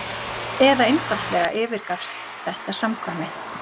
eða einfaldlega yfirgafst þetta samkvæmi?